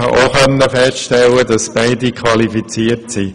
Wir konnten dabei feststellen, dass beide Personen qualifiziert sind.